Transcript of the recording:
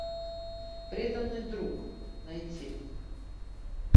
преданный друг найти